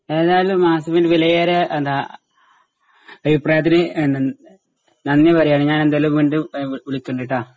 ഏതായാലും വിലയേറിയ എന്താ അഭിപ്രായത്തിന് നന്ദി പറയുകയാണ്. ഞാൻ എന്തായാലും വീണ്ടും വിളിക്കുണ്ട് കേട്ടൊ?